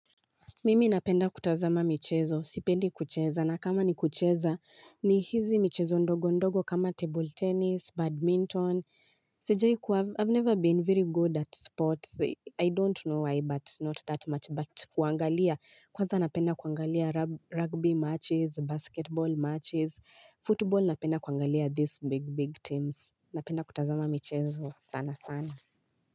Mimi napenda kutazama michezo. Sipendi kucheza. Na kama ni kucheza, ni hizi michezo ndogo ndogo kama table tennis, badminton. Sijai kua, I've never been very good at sports. I don't know why, but not that much. But kuangalia kwanza napenda kwangalia rugby matches, basketball matches, football napenda kwaangalia these big, big teams. Napenda kutazama michezo sana sana.